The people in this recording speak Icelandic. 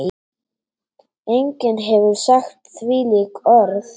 Enginn hefur sagt þvílík orð.